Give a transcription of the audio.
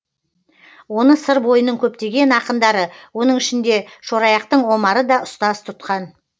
оны сыр бойының көптеген ақындары оның ішінде шораяқтың омары да ұстаз тұтқан